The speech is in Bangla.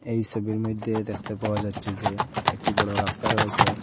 এই সবির মইধ্যে দেখতে পাওয়া যাচ্ছে যে একটি বড় রাস্তা রয়েসে।